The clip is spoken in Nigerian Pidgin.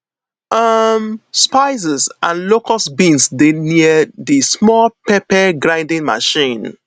um spices and locust beans dey stay near the small pepper grinding machine